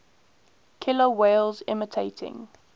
killer whales imitating